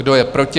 Kdo je proti?